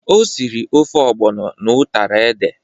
O siri ofe ọgbọnọ na utara ede.